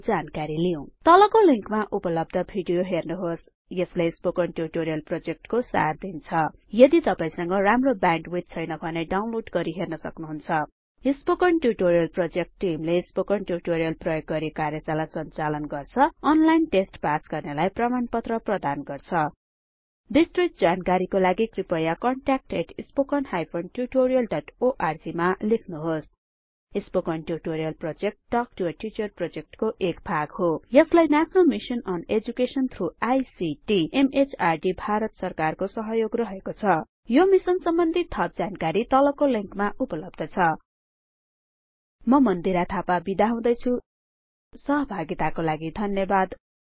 को जानकारी लिउँ तलको लिंकमा उपलब्ध भिडियो हेर्नुहोस् यसले स्पोकन ट्युटोरियल प्रोजेक्टको सार दिन्छ यदि तपाईसंग राम्रो ब्याण्डविड्थ छैन भने डाउनलोड गरि हेर्न सक्नुहुन्छ स्पोकन ट्युटोरियल प्रोजेक्ट टिमले स्पोकन ट्युटोरियल प्रयोग गरी कार्यशाला संचालन गर्छ अनलाइन टेस्ट पास गर्नेलाई प्रमाणपत्र प्रदान गर्छ विस्तृत जानकारीको लागि कृपया contactspoken tutorialorg मा लेख्नुहोस् spoken tutorial project talk to a teacher प्रोजेक्टको एक भाग हो यसलाई national mission on education through ICT MHRD Bharat सरकारको सहयोग रहेको छ यो मिशनमा थप जानकारी उपलब्ध छ httpspoken tutorialorgNMEICT Intro म मन्दिरा थापा बिदा हुदैछुँ सहभागी हुनुभएकोमा धन्यवाद